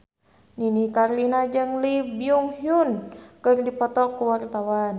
Nini Carlina jeung Lee Byung Hun keur dipoto ku wartawan